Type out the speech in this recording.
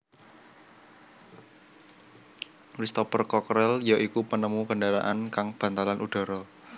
Cristopher Crockerel ya iku penemu kendharaan kang bantalan udhara